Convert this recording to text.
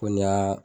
Ko ni y'a